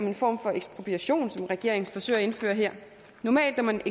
en form for ekspropriation regeringen forsøger at indføre her normalt må man